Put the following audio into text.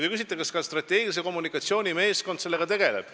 Te küsite, kas strateegilise kommunikatsiooni meeskond selle teemaga tegeleb.